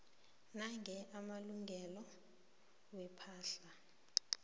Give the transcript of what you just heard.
nange amalungelo wepahla